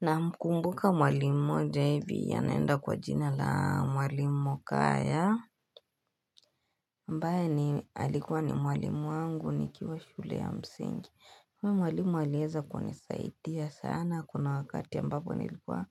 Na mkumbuka mwalimu mmoja hivi anaenda kwa jina la mwalimu kaya ambaye ni alikuwa ni mwalimu wangu nikiwa shule ya msingi huyu mwalimu alieza kunisaidia sana kuna wakati ambapo nilikuwa